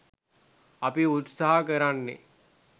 අපි උත්සාහ කරන්නේ